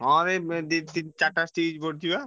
ହଁ ଏଇ ଦି ତିନ ରିଟା stitch ପଡିଛି ବା।